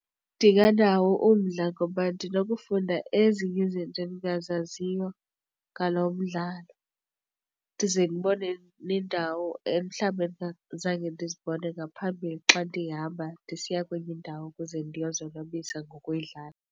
Ndinganawo umdla ngoba ndinokufunda ezinye izinto endingazaziyo ngalo mdlalo. Ndize ndibone neendawo mhlawumbe zange ndizibone ngaphambili xa ndihamba ndisiya kwenye indawo ukuze ndiyozonwabisa ngokudlala.